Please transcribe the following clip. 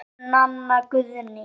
Þín, Nanna Guðný.